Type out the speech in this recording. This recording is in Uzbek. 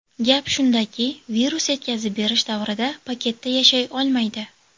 Gap shundaki, virus yetkazib berish davrida paketda yashay olmaydi.